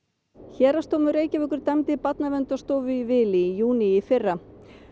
héraðsdómur Reykjavíkur dæmdi Barnaverndarstofu í vil í júní í fyrra